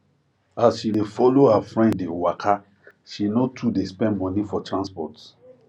as she dey follow her friend dey waka she no too dey spend money for transport